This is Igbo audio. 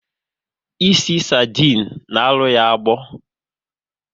Ịsị sardine na arụ ya agbọ